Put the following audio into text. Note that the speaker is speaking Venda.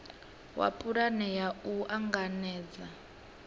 wa pulane ya u anganela